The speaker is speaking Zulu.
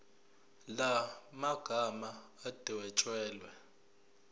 la magama adwetshelwe